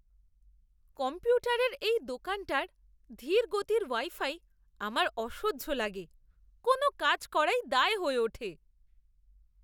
কম্পিউটারের এই দোকানটার ধীর গতির ওয়াই ফাই আমার অসহ্য লাগে। কোনও কাজ করাই দায় হয়ে ওঠে।